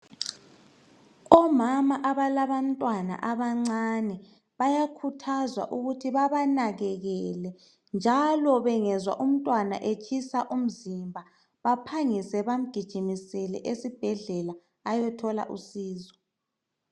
Omama abalabantwana abancane bayakhuthazwa ukuthi babanakekele njalo bengezwa umntwana etshisa umzimba baphangise bamgijimisele esibhedlela ayothola uncedo.